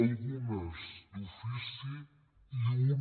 algunes d’ofici i una